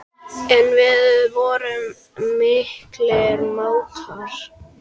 En við vorum miklir mátar.